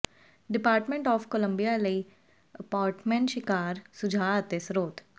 department of Columbia ਲਈ apartment ਸ਼ਿਕਾਰ ਸੁਝਾਅ ਅਤੇ ਸਰੋਤ